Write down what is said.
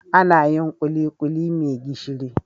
Anayin kulikuli me gishiri